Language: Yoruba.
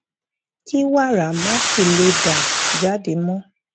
kí wàrà má sì lè dà jáde mó